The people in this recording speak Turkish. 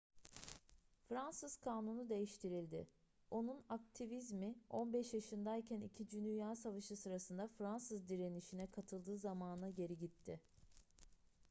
fransız kanunu değiştirildi onun aktivizmi 15 yaşındayken ii dünya savaşı sırasında fransız direnişine katıldığı zamana geri gitti